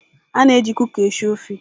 A na-eji Kuka esi ofe.